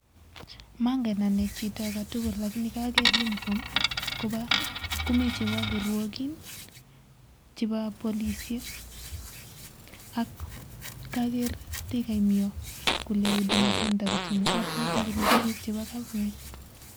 Mongen anee chito agetugul [lakini] kaaker [uniform] chebo kirwokin